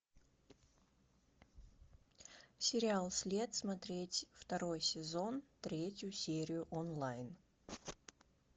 сериал след смотреть второй сезон третью серию онлайн